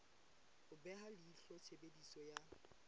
ho beha leihlo tshebediso ya